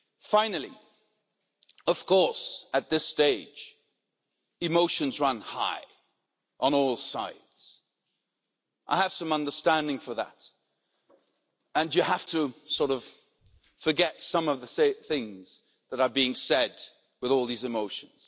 Finally, of course, at this stage emotions run high on all sides. I have some understanding for that, and you have to sort of forget some of the things that are being said with all these emotions.